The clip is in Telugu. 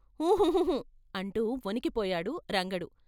హూ హూ హూ అంటూ వణికిపోయాడు రంగడు.